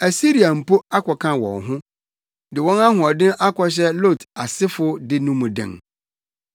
Asiria mpo akɔka wɔn ho de wɔn ahoɔden akɔhyɛ Lot asefo de no mu den.